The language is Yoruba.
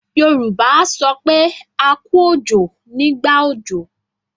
Yorùbá a sọ pé 'A kú òjò' nígbà òjò.